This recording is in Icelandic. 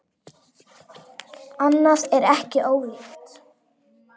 Annað er ekki ólíkt.